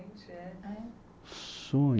Sonho